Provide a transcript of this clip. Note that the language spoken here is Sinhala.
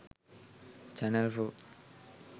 channel 4